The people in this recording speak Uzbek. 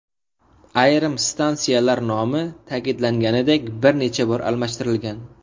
Ayrim stansiyalar nomi, ta’kidlanganidek, bir necha bor almashtirilgan.